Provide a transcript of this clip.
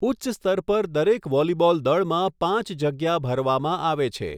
ઉચ્ચ સ્તર પર દરેક વોલીબોલ દળમાં પાંચ જગ્યા ભરવામાં આવે છે.